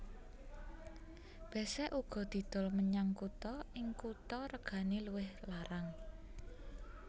Besek uga didol menyang kutha ing kutha regane luwih larang